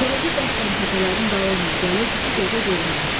Koroğlu qəsdən təpələrin dalı ilə gəlirdi ki, gözə görünməsin.